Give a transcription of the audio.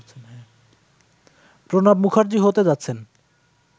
প্রণব মুখার্জি হতে যাচ্ছেন